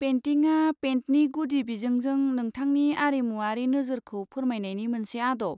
पेइन्टिंआ पेइन्टनि गुदि बिजोंजों नोंथांनि आरिमुवारि नोजोरखौ फोरमायनायनि मोनसे आदब।